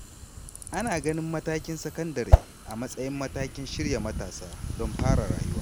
Ana ganin matakin sakandare a matsayin matakin shirya matasa don fara rayuwa.